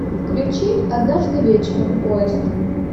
включи однажды вечером поезд